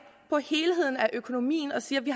på helheden i økonomien og siger at vi